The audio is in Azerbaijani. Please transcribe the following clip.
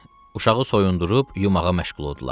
Uşağı soyundurub yumağa məşğul oldular.